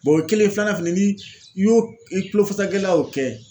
o ye kelen ye filanan fɛnɛ ni i y'o i kulo fasa gɛlɛya y'o kɛ